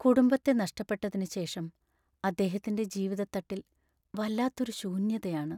കുടുംബത്തെ നഷ്ടപ്പെട്ടതിനുശേഷം അദ്ദേഹത്തിൻ്റെ ജീവിതത്തട്ടിൽ വല്ലാത്തൊരു ശൂന്യതയാണ്.